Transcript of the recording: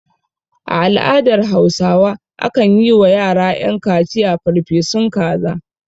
A al'adar hausawa akan yi wa yara ƴan kaciya farfesun kaza